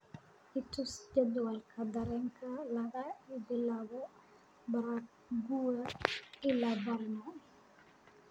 i tus jadwalka tareenka laga bilaabo prague ilaa brno